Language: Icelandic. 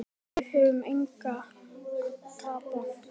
Við höfum engu að tapa.